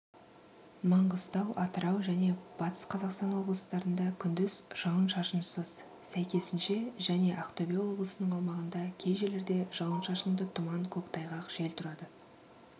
маңғыстау атырау және батыс қазақстан облыстарында күндіз жауын-шашынсыз сәйкесінше және ақтөбе облысының аумағында кей жерлерде жауын-шашынды тұман көктайғақ жел тұрады